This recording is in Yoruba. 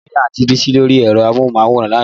Mo rí Àǹti Bísí lórí ẹ̀rọ amóhùnmáwòrán lánàá